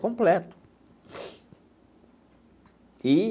Completo e.